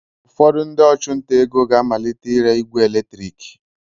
Ụfọdụ ndị ọchụnta ego ga-amalite ire igwe eletrik.